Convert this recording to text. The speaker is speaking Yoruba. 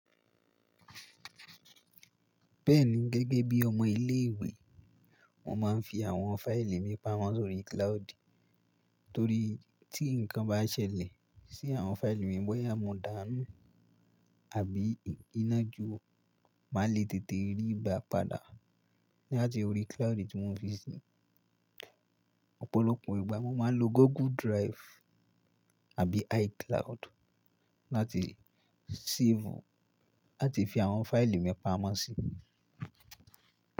Bẹ́ẹ̀ni, gẹ́gẹ́ bí ọmọ ilé ìwé mo máa ń fi àwọn fáìlì mi pamọ́ sórí cloud torí tí ǹkan bá ṣẹlẹ̀ sí àwọn fáìlì mi bọ́yá mo dàanu àbí iná jo, màá le tètè ríi gbá padà láti orí cloud tí mo fi sí. Òpòlopò ìgbà mo máa ń lo Google Drive àbí iCloud láti save láti fi àwọn fáìlì mi pamọ́ sí.